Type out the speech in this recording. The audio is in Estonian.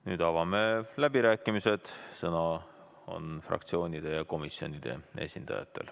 Nüüd avame läbirääkimised, sõna on fraktsioonide ja komisjonide esindajatel.